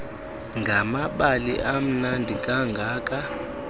ngamabali amnandi kangaka